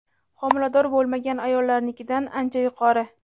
homilador bo‘lmagan ayollarnikidan ancha yuqori.